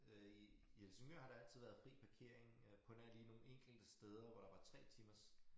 Øh i i Helsingør har der altid været fri parkering øh på nær lige nogle enkelte steder hvor der var 3 timers